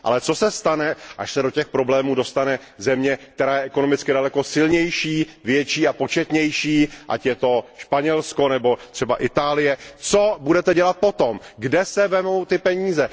Ale co se stane, až se do těch problémů dostane země, která je ekonomicky daleko silnější, větší a početnější, ať je to Španělsko nebo třeba Itálie? Co budete dělat potom, kde se vezmou peníze?